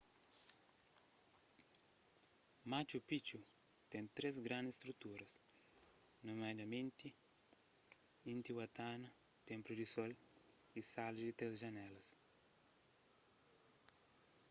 machu picchu ten três grandis strutura nomiadamenti intihuatana ténplu di sol y sala di três janélas